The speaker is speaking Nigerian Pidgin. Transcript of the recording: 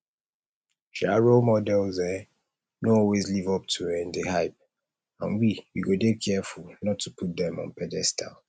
um role models um no always live up to um di hype and we we go dey careful not to put dem on pedestal